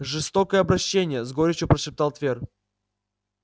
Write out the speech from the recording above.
жестокое обращение с горечью прошептал твер